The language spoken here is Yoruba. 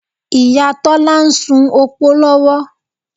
Ìyá Tọ́lá ń ṣu opó lọ́wọ́